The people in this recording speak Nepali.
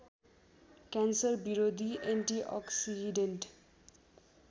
क्यान्सर विरोधी एन्टिअक्सिडेन्ट